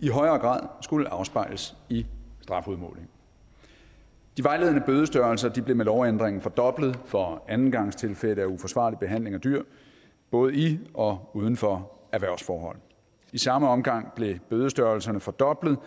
i højere grad skulle afspejles i strafudmålingen de vejledende bødestørrelser blev med lovændringen fordoblet for andengangstilfælde af uforsvarlig behandling af dyr både i og uden for erhvervsforhold i samme omgang blev bødestørrelserne fordoblet